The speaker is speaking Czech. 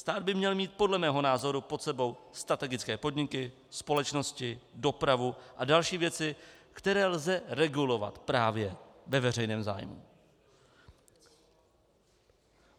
Stát by měl mít podle mého názoru pod sebou strategické podmínky, společnosti, dopravu a další věci, které lze regulovat právě ve veřejném zájmu.